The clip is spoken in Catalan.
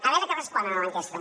a veure que responen a l’enquesta